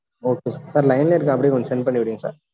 Okay sir Sir line லயே இருங்க, அப்படியே கொஞ்சம் send பண்ணி விடுங்க sir